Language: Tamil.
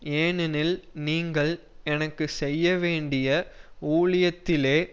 ஏனெனில் நீங்கள் எனக்கு செய்ய வேண்டிய ஊழியத்திலே